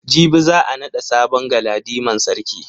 Jibi za a nada sabon galadiman sarki.